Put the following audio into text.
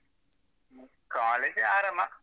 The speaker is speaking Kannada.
College ಆರಾಮ.